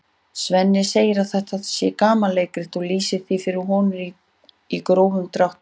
Svenni segir að þetta sé gamanleikrit og lýsir því fyrir honum í grófum dráttum.